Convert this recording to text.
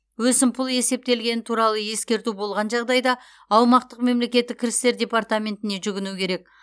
өсімпұл есептелгені туралы ескерту болған жағдайда аумақтық мемлекеттік кірістер департаментіне жүгіну керек